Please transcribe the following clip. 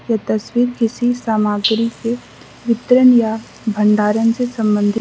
ये तस्वीर किसी सामग्री के वितरण या भंडारण से संबंधित --